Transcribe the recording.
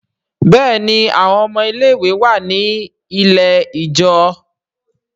Béèni àwọn ọmọ ilé ìwé wá ní ilẹ̀ ijọ.